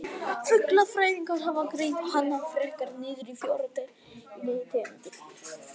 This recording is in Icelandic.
Fuglafræðingar hafa greint hana frekar niður í fjórar deilitegundir.